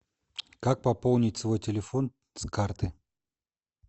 как пополнить свой телефон с карты